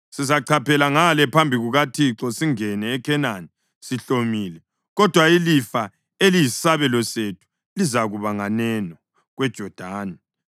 Sizachaphela ngale phambi kukaThixo singene eKhenani sihlomile, kodwa ilifa eliyisabelo sethu lizakuba nganeno kweJodani.”